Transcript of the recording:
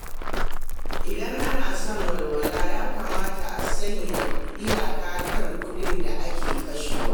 Idan ana son walwala, ya kamata a sanya iyaka kan kuɗin da ake kashewa.